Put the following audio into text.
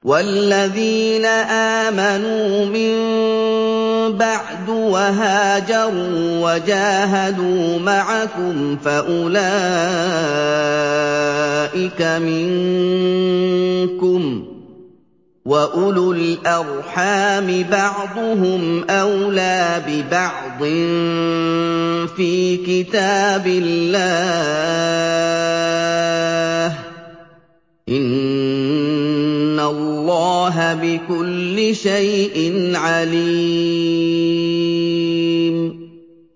وَالَّذِينَ آمَنُوا مِن بَعْدُ وَهَاجَرُوا وَجَاهَدُوا مَعَكُمْ فَأُولَٰئِكَ مِنكُمْ ۚ وَأُولُو الْأَرْحَامِ بَعْضُهُمْ أَوْلَىٰ بِبَعْضٍ فِي كِتَابِ اللَّهِ ۗ إِنَّ اللَّهَ بِكُلِّ شَيْءٍ عَلِيمٌ